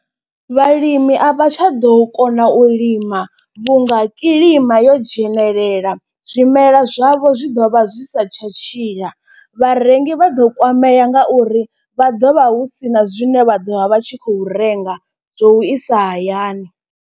Vhalimi a vha tsha ḓo kona u lima vhu nga kilima yo dzhenelela zwimelwa zwavho zwi ḓo vha zwi sa tsha tshila. Vharengi vha ḓo kwamea nga uri vha ḓo vha hu sina zwine vha ḓo vha vha tshi khou renga zwo u isa hayani.